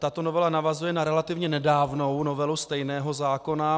Tato novela navazuje na relativně nedávnou novelu stejného zákona.